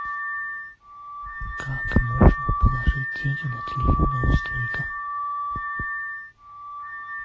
как можно положить деньги на телефон родственника